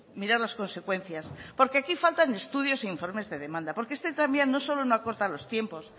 mirar las consecuencias porque aquí faltan estudios e informes de demanda porque este tranvía no solo no acorta los tiempos